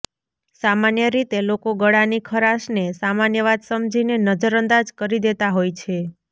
સામાન્ય રીતે લોકો ગળાની ખરાશ ને સામાન્ય વાત સમજીને નજર અંદાજ કરી દેતા હોય છે